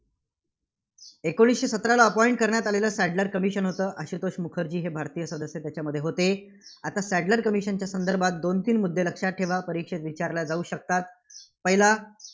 एकोणीसशे सतराला appoint करण्यात आलेलं सॅडलर commission होतं. आशुतोष मुखर्जी हे भारतीय सदस्य याच्यामध्ये होते. आता सॅडलर commission च्या संदर्भात दोन तीन मुद्दे लक्षात ठेवा, परीक्षेत विचारल्या जाऊ शकतात. पहिला